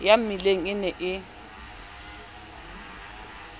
ya mmileng e ne e